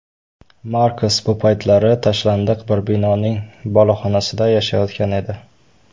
Markos bu paytlari tashlandiq bir binoning boloxonasida yashayotgan edi.